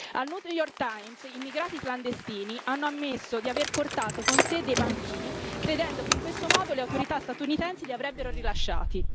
Al New York Times immigrati clandestini hanno ammesso di aver portato con sé dei bambini, credendo che in questo modo le autorità statunitensi li avrebbero rilasciati.